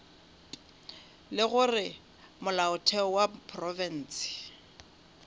le gore molaotheo wa profense